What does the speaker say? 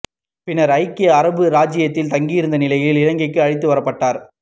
பின்னர் ஐக்கிய அரபு ராச்சியத்தில் தங்கியிருந்த நிலையில் இலங்கைக்கு அழைத்து வரப்பட்டார்